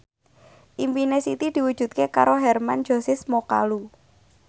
impine Siti diwujudke karo Hermann Josis Mokalu